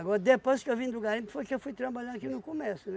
depois que eu vim do garimpo, foi que eu fui trabalhar aqui no comércio, né?